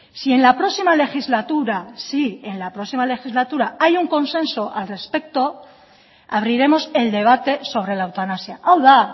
si en la próxima legislatura si en la próxima legislatura hay un consenso al respecto abriremos el debate sobre la eutanasia hau da